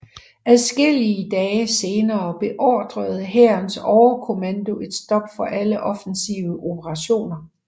Adskillige dage senere beordrede hærens overkommando et stop for alle offensive operationer